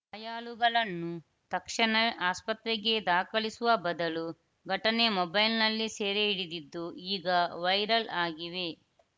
ಗಾಯಾಳುಗಳನ್ನು ತಕ್ಷಣವೇ ಆಸ್ಪತ್ರೆಗೆ ದಾಖಲಿಸುವ ಬದಲು ಘಟನೆ ಮೊಬೈಲ್‌ನಲ್ಲಿ ಸೆರೆ ಹಿಡಿದಿದ್ದು ಈಗ ವೈರಲ್‌ ಆಗಿವೆ